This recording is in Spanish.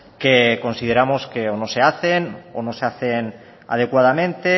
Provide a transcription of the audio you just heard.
que consideramos que o no se hacen o no se hacen adecuadamente